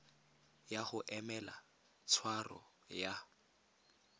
ya go emela tshwaro ya